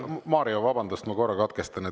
Mario, vabandust, ma korra katkestan.